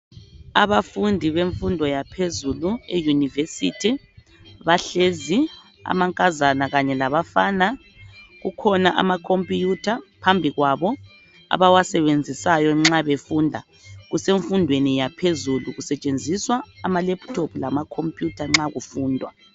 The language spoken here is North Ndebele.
Abafundi bemfundo yaphezulu eYunivesithi bahlezi amankazana kanye labafana kukhona amakhompiyutha phambi kwabo abawasebenzisayo nxa befunda kusemfundweni yaphezulu kusetshenziswa amalaptop lamacomputer nxa kufundwa.